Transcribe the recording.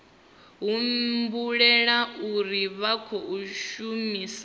humbulela uri vha khou shumisa